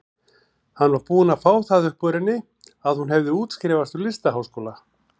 Hann var búinn að fá það upp úr henni að hún hefði útskrifast úr listaháskóla.